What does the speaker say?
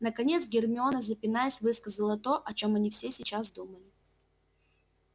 наконец гермиона запинаясь высказала то о чём они все сейчас думали